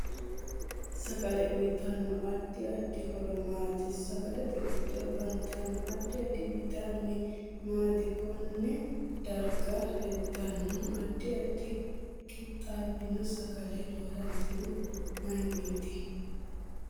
Sagale uyiitanno addi addi horo maati sagalete giddo afantanno addi addi bayiitamine maati konne s darga leeltanno addi addi qixaabino sagale losantinohu mayiiniti